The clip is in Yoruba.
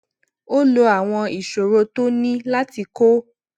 ó lo àwọn ìṣòro tó ní láti kó